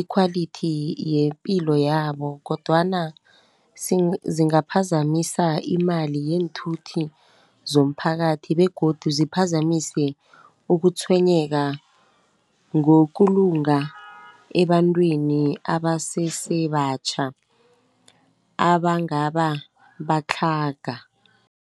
ikhwalithi yepilo yabo, kodwana zingaphasi imali yeenthuthi zomphakathi, begodu ziphazamise ukutshwenyeka ngokulunga ebantwini abasesebatjha abangaba batlhaga.